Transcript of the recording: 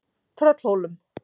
Tröllhólum